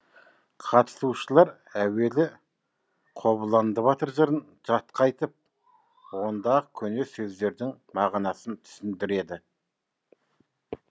қатысушылар әуелі қобыланды батыр жырын жатқа айтып ондағы көне сөздердің мағынасын түсіндіреді